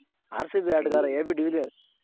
RCB ಆಟಗಾರ AB dealers